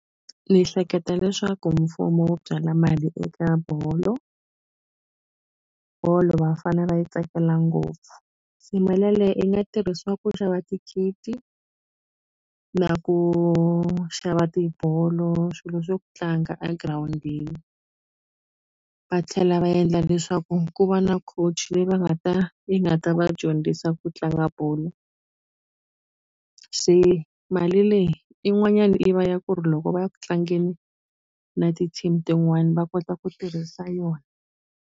Ni hleketa leswaku mfumo wu byala mali eka bolo bolo vafana va yi tsakela ngopfu se mali yaleye yi nga tirhisiwa ku xava ti-kit na ku xava tibolo swilo swa ku tlanga a girawundini va tlhela va endla leswaku ku va na coach leyi va nga ta yi nga ta va dyondzisa ku tlanga bolo se mali leyi yin'wanyani yi va ya ku ri loko va ya ku tlangeni na ti-team tin'wani va kota ku tirhisa yona.